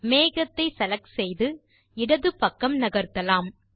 மேகத்தை செலக்ட் செய்து இடது பக்கம் நகர்த்தலாம்